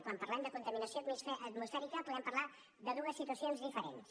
quan parlem de contaminació atmosfèrica podem parlar de dues situacions diferents